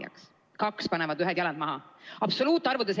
"Number 2!" panevad ühed jalad maha.